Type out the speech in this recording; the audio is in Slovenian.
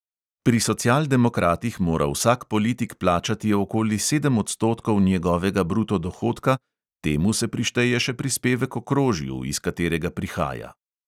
Pri socialdemokratih mora vsak politik plačati okoli sedem odstotkov njegovega bruto dohodka, temu se prišteje še prispevek okrožju, iz katerega prihaja.